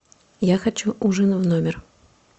я хочу ужин в номер